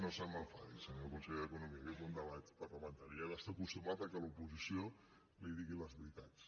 no se m’enfadi senyor conseller d’economia que és un debat parlamentari i ha d’estar acostumat que l’oposició li digui les veritats